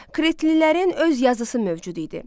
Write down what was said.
Kritlilərin öz yazısı mövcud idi.